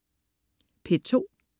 P2: